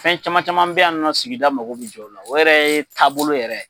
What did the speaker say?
Fɛn caman caman bɛ yan nɔ sigida mako bɛ jɔ ola, o yɛrɛ ye taabolo yɛrɛ.